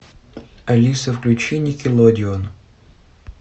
алиса включи никелодеон